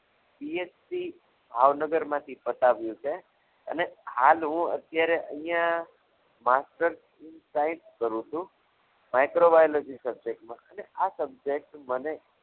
BSc ભાવનગરમાંથી પતાવી છે અને હાલ હું અત્યારે અહીંયા master in science કરું છું microbiology subject માં અને આ subject મને